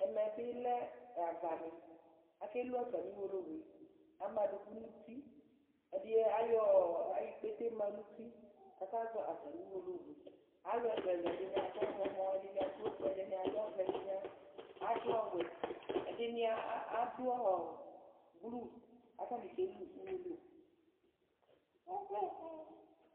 ɛmɛbilé ɑvɑɲi ɑkɛlʊ ɑtɑmiu wọlọwʊɛ ɑmɑɗʊku ɲʊtiɛɗiɲi ɑyọ ïkpétɛ mɑɲʊti kɑkɑzɔ ɑtɑmiuwõlọwʊɛ ɑlʊɛlʊɛlʊ ɛɗiɲiɑɗʊ ọfʊɛ ɛɗiɲiɑ ɗʊ ɔhlomɔ ɛɗiɲiɑɗʊ ọfʊɛ ɛɗiɲiɑɖʊ ɔvẽ ɛɗiɲidʊ ɔwẽ ɛɗiɲiɑɗʊ blu kɑtɑɲiké lʊ ωwọlowʊ